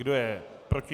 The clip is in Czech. Kdo je proti?